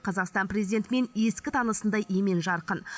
қазақстан президентімен ескі танысындай емен жарқын